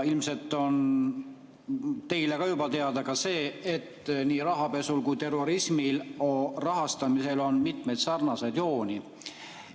Ilmselt on teile juba teada ka see, et nii rahapesu kui ka terrorismi rahastamisel on mitmeid sarnaseid jooni.